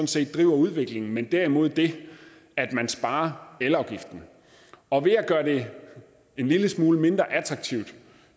set driver udviklingen men derimod det at man sparer elafgiften og ved at gøre det en lille smule mindre attraktivt